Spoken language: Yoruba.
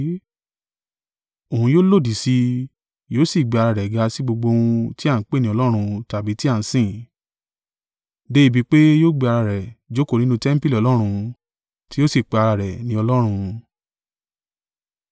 Òun yóò lòdì sí, yóò sì gbé ara rẹ̀ ga sí gbogbo ohun tí a ń pè ní Ọlọ́run tàbí tí a ń sìn, dé ibi pé yóò gbé ara rẹ̀ jókòó nínú tẹmpili Ọlọ́run, tí yóò sì pe ara rẹ̀ ní Ọlọ́run.